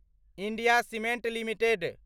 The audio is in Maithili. India cements limited